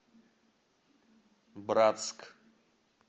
братск